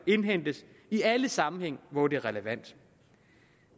indhentes i alle sammenhænge hvor det er relevant